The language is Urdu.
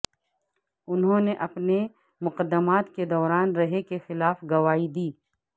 انہوں نے اپنے مقدمات کے دوران رے کے خلاف گواہی دی